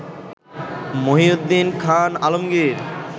Mohiuddin Khan Alamgir